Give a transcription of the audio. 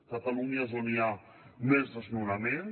catalunya és on hi ha més desnonaments